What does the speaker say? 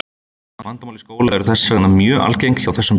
Vandamál í skóla eru þess vegna mjög algeng hjá þessum börnum.